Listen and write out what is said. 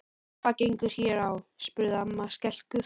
Hvað gengur hér á? spurði amma skelkuð.